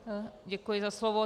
Děkuji za slovo.